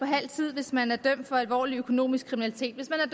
halv tid hvis man er dømt for alvorlig økonomisk kriminalitet hvis man